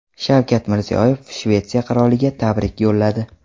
Shavkat Mirziyoyev Shvetsiya qiroliga tabrik yo‘lladi.